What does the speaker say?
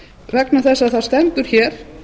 vegna þess að það stendur hér